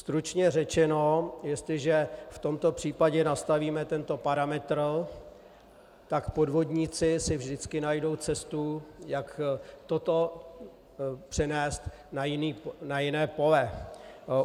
Stručně řečeno, jestliže v tomto případě nastavíme tento parametr, tak podvodníci si vždycky najdou cestu, jak toto přenést na jiné pole.